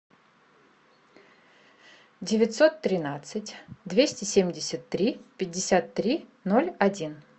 девятьсот тринадцать двести семьдесят три пятьдесят три ноль один